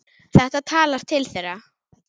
Þetta talar til þeirra.